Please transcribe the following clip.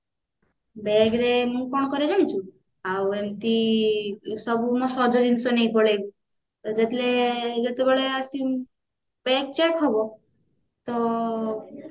bag ରେ ମୁଁ କଣ କରେ ଜାଣିଛୁ ଆଉ ଏମିତି ସବୁ ମୋ ସଜ ଜିନିଷ ନେଇକି ପଳେଇବି ତ ଯେତେବେଳେ ଆସିବି ମୁଁ bag check ହବେ ତ